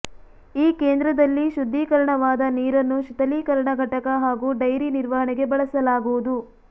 ಈ ಕೇಂದ್ರದಲ್ಲಿ ಶುದ್ಧೀಕರಣವಾದ ನೀರನ್ನು ಶೀಥಲೀಕರಣ ಘಟಕ ಹಾಗೂ ಡೈರಿ ನಿರ್ವಹಣೆಗೆ ಬಳಸಲಾಗುವುದು